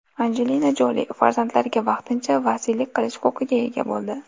Anjelina Joli farzandlariga vaqtincha vasiylik qilish huquqiga ega bo‘ldi.